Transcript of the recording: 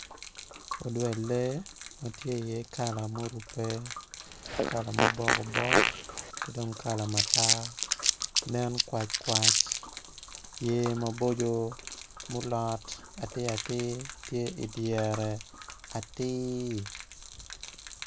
Odwel lee ma tye iye kala murubbe kala ma obokobok ki dong kala matar nen kwackwac yer maboco ma olot atiratir tye idyere atir.